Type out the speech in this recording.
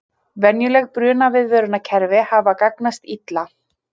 Venjuleg brunaviðvörunarkerfi hafa gagnast illa